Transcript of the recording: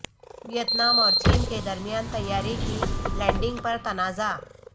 Vietnam اور چین کے درمیان طیارے کی لینڈنگ پر تنازع